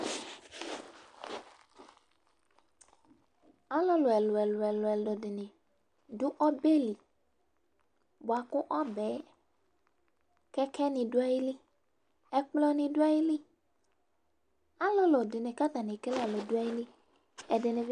Alʋlʋ ɛlʋ-ɛlʋ dɩnɩ dʋ ɔbɛ li bʋa kʋ ɔbɛ yɛ, kɛkɛnɩ dʋ ayili Ɛkplɔnɩ dʋ ayili Alʋlʋ dɩnɩ kʋ atanɩ ekele ɛlʋ dʋ ayili, ɛdɩnɩ bɩ